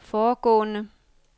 foregående